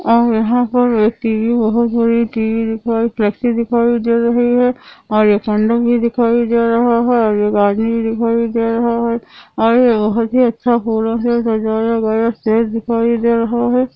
और यहां पर एक टीवी बहुत बड़ी टीवी दिखाई टैक्सी दिखाई दे रही है एक मंडप भी दिखाई दे रहा है एक आदमी दिखाई दे रहा है और यह बहुत ही अच्छा फूलों से सजाया गया है स्टेज दिखाई दे रहा है|